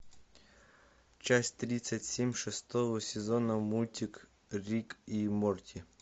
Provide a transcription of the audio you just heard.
часть тридцать семь шестого сезона мультик рик и морти